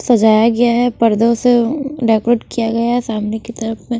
सजाया गया है पर्दों से डेकोरेट किया गया है सामने की तरफ में--